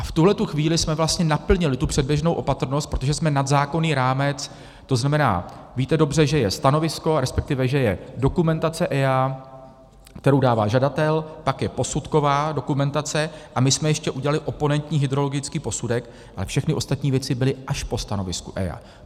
A v tuhle chvíli jsme vlastně naplnili tu předběžnou opatrnost, protože jsme nad zákonný rámec, to znamená, víte dobře, že je stanovisko, respektive že je dokumentace EIA, kterou dává žadatel, pak je posudková dokumentace, a my jsme ještě udělali oponentní hydrologický posudek, ale všechny ostatní věci byly až po stanovisku EIA.